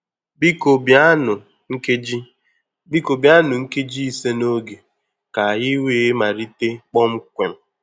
Biko bịanụ nkeji Biko bịanụ nkeji ise n'oge ka anyị wee malite kpọmkwem